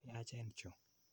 Yaachen chu.